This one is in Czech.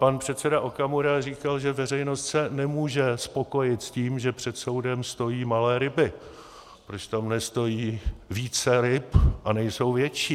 Pan předseda Okamura říkal, že veřejnost se nemůže spokojit s tím, že před soudem stojí malé ryby, proč tam nestojí více ryb a nejsou větší.